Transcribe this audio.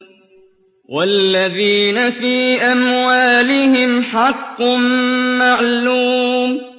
وَالَّذِينَ فِي أَمْوَالِهِمْ حَقٌّ مَّعْلُومٌ